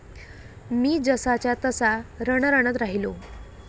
मी जसाच्या तसा रणरणत राहिलो!